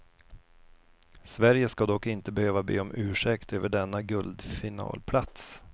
Sverige ska dock inte behöva be om ursäkt över denna guldfinalplats.